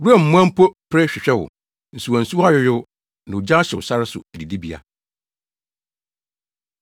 Wuram mmoa mpo pere hwehwɛ wo. Nsuwansuwa ayoyow, na ogya ahyew sare so adidibea.